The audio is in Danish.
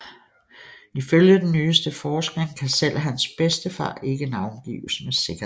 Ifølge den nyeste forskning kan selv hans bedstefar ikke navngives med sikkerhed